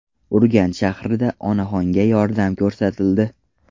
Urganch shahrida onaxonga yordam ko‘rsatildi.